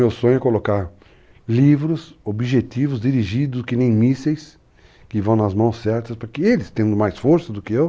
Meu sonho é colocar livros, objetivos, dirigidos que nem mísseis, que vão nas mãos certas, para que eles, tendo mais força do que eu,